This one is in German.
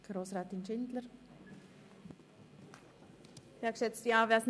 Danach hat der Kommissionspräsident das Wort.